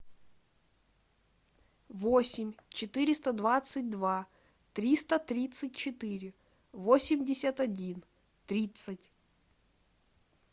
восемь четыреста двадцать два триста тридцать четыре восемьдесят один тридцать